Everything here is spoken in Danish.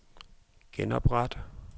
genopret